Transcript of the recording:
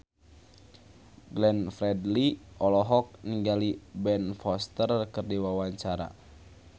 Glenn Fredly olohok ningali Ben Foster keur diwawancara